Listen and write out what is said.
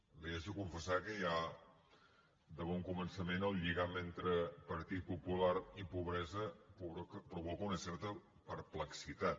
li haig de confessar que ja de bon començament el lligam entre partit popular i pobresa provoca una certa perplexitat